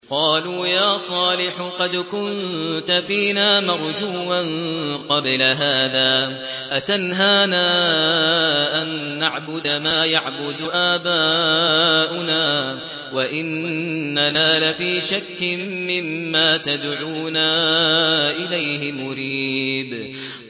قَالُوا يَا صَالِحُ قَدْ كُنتَ فِينَا مَرْجُوًّا قَبْلَ هَٰذَا ۖ أَتَنْهَانَا أَن نَّعْبُدَ مَا يَعْبُدُ آبَاؤُنَا وَإِنَّنَا لَفِي شَكٍّ مِّمَّا تَدْعُونَا إِلَيْهِ مُرِيبٍ